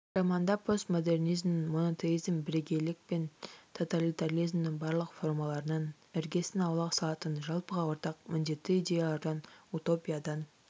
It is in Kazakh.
романда постмодернизмнің монотеизм бірегейлік пен тоталитаризмнің барлық формаларынан іргесін аулақ салатын жалпыға ортақ міндетті идеялардан утопиядан